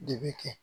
De bɛ kɛ